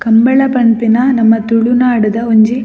ಕಂಬಳ ಪನ್ಪಿನ ನಮ್ಮ ತುಲುನಾಡುದ ಒಂಜಿ --